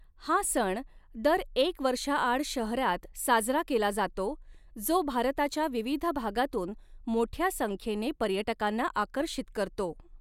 हा सण दर एक वर्षाआड शहरात साजरा केला जातो जो भारताच्या विविध भागातून मोठ्या संख्येने पर्यटकांना आकर्षित करतो.